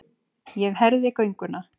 Ég herði gönguna.